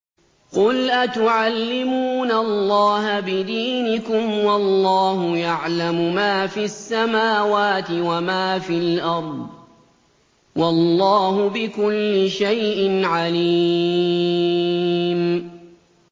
قُلْ أَتُعَلِّمُونَ اللَّهَ بِدِينِكُمْ وَاللَّهُ يَعْلَمُ مَا فِي السَّمَاوَاتِ وَمَا فِي الْأَرْضِ ۚ وَاللَّهُ بِكُلِّ شَيْءٍ عَلِيمٌ